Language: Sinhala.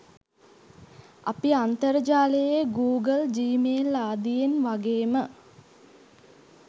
අපි අන්තර්ජාලයේ ගූගල් ජීමේල් ආදියෙන් වගේම